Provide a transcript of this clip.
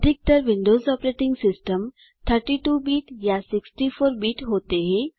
अधिकतर Windows operating systems 32 bit या 64 bit होते हैं